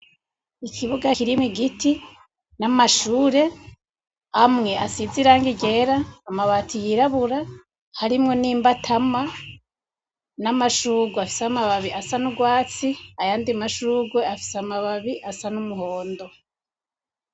Ikibuga kirimwo igiti n'amashure amwe asize irangi ryera amabati yirabura harimwo nimbatama, n'amashugwe afise amababi asa nugwatsi, ayandi mashugwe afise amababi asa n'umuhondo.